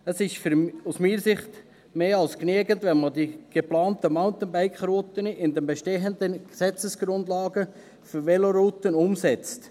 Es ist aus meiner Sicht mehr als genügend, wenn man die geplanten Mountainbike-Routen innerhalb der bestehenden Gesetzesgrundlagen für Velorouten umsetzt.